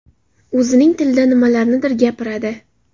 O‘zining tilida nimalarnidir gapiradi.